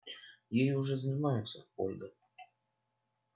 ей уже занимаются ольга